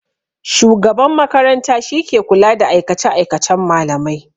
Shugaban makaranta shike kula da aikace-aikacen malamai.